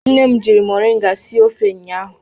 Nne m jiri moringa sie ofe ụnyahụ.